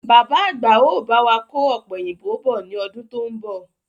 Bàbá àgbà ó bá wà kò ọ̀pẹ̀yìnbo bọ̀ ni ọdún to ń bọ̀.